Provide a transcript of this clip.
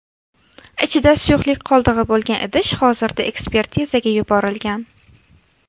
Ichida suyuqlik qoldig‘i bo‘lgan idish hozirda ekspertizaga yuborilgan.